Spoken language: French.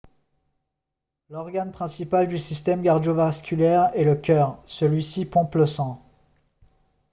l'organe principal du système cardio-vasculaire est le cœur celui-ci pompe le sang